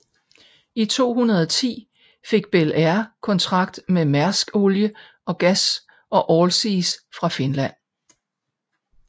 I 2010 fik Bel Air kontrakt med Mærsk Olie og gas og Allseas fra Finland